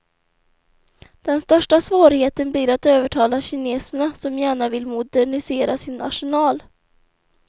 Den största svårigheten blir att övertala kineserna, som gärna vill modernisera sin arsenal.